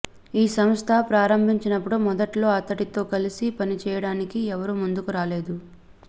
ఈ సంస్థ ప్రారంభించినప్పుడు మొదట్లో అతడితో కలిసి పని చేయడానికి ఎవరూ ముందుకు రాలేదు